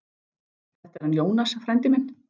Þetta er hann Jónas, frændi minn.